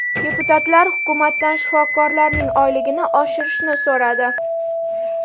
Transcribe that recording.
Deputatlar hukumatdan shifokorlarning oyligini oshirishni so‘radi.